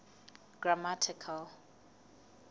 grammatical